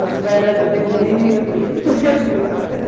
As pernas tremiam, tudo tremia, né?